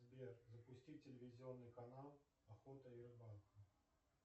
сбер запусти телевизионный канал охота и рыбалка